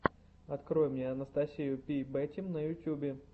открой мне анастасию пи бэтим на ютьюбе